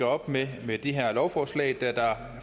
op med med det her lovforslag da der